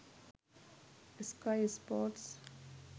sky sports